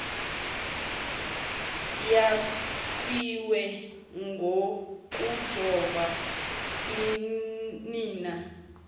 yakhiwe ngokujova unina